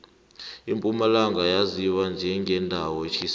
impumalanga yaziwa njengendawo etjhisako